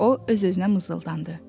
O öz-özünə mızıldandı.